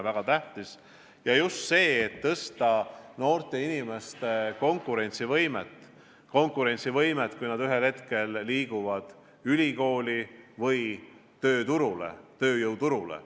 See ju aitab parandada noorte inimeste konkurentsivõimet, kui nad ühel hetkel lähevad ülikooli või tööjõuturule.